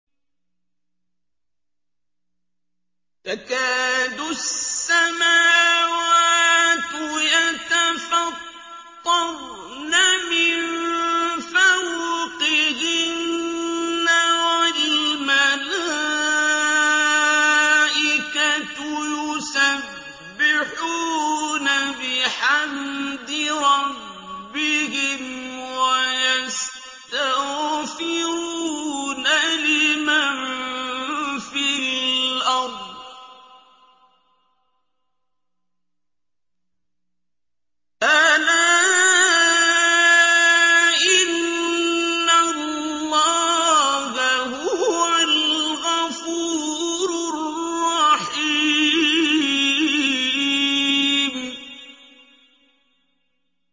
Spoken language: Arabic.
تَكَادُ السَّمَاوَاتُ يَتَفَطَّرْنَ مِن فَوْقِهِنَّ ۚ وَالْمَلَائِكَةُ يُسَبِّحُونَ بِحَمْدِ رَبِّهِمْ وَيَسْتَغْفِرُونَ لِمَن فِي الْأَرْضِ ۗ أَلَا إِنَّ اللَّهَ هُوَ الْغَفُورُ الرَّحِيمُ